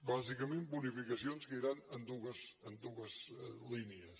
bàsicament bonificacions que iran en dues línies